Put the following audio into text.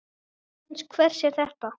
Rithönd hvers er þetta?